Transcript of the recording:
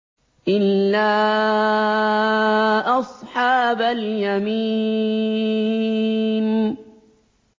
إِلَّا أَصْحَابَ الْيَمِينِ